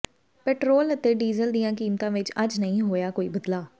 petrol ਅਤੇ diesel ਦੀਆਂ ਕੀਮਤਾਂ ਵਿੱਚ ਅੱਜ ਨਹੀਂ ਹੋਇਆ ਕੋਈ ਬਦਲਾਅ